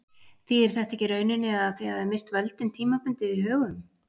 Þýðir þetta ekki í rauninni að þið hafið misst völdin tímabundið í Högum?